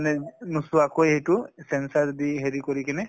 মানে নুচুৱাকৈ সেইটো sensor দি হেৰি কৰি কিনে